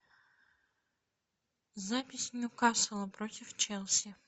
запись ньюкасл против челси